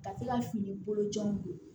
Ka se ka fini bolo jɔnw don